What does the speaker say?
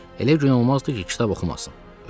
Elə gün olmazdı ki, kitab oxumasın.